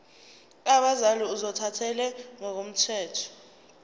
abazali ozothathele ngokomthetho